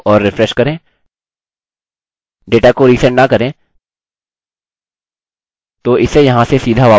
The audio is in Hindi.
डेटा को resend न करें तो इसे यहाँ से सीधा वापस आना चाहिए और register पर फिर से क्लिक करें